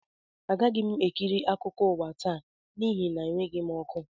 Agaghị m ekiri akụkọ ụwa taa n'ihi na enweghị m ọkụ